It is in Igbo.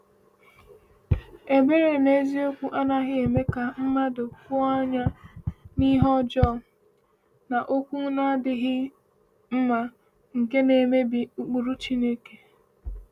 Ebere n’eziokwu anaghị eme ka mmadụ kwụọ anya n’ihe ọjọọ na okwu na-adịghị mma nke na-emebi ụkpụrụ Chineke.